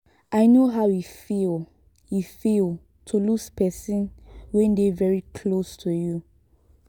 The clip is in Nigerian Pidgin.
i no how e feel e feel to lose person wey dey very close to you